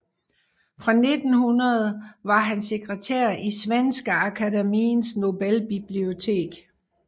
Fra 1900 var han sekretær i Svenska Akademiens Nobelbibliotek